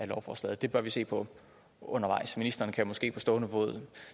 lovforslaget det bør vi se på undervejs ministeren kan måske på stående fod